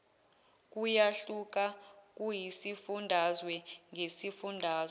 kuyahluka kusifundazwe ngesifundazwe